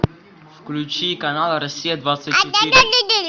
включи канал россия двадцать четыре